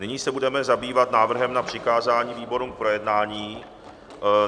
Nyní se budeme zabývat návrhem na přikázání výborům k projednání.